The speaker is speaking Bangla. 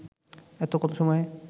এত কম সময়ে